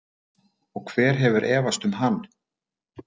Og hver hefur efast um hann?